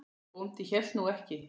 Bóndi hélt nú ekki.